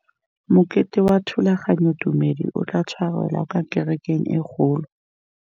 Mokete wa thulaganyôtumêdi o tla tshwarelwa kwa kerekeng e kgolo.